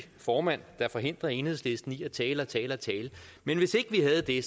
formand der forhindrer enhedslisten i at tale og tale og tale men hvis ikke vi havde det